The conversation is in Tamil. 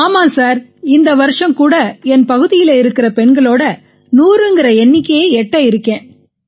ஆமாம் சார் இந்த வருஷம் கூட என் பகுதியில இருக்கற பெண்களோட 100ங்கற எண்ணிக்கையை எட்ட இருக்கேன்